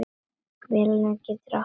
Mjölnir getur átt við um